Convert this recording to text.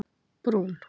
Brún